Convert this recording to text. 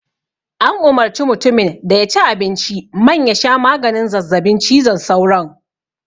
An umarci mutimin da ya ci abinci man ya sha maganin zazzabin cizon sauron